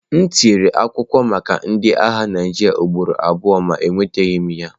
M tinyere akwụkwọ maka ndị agha Naịjirịa ugboro abụọ ma enwetaghị m ya.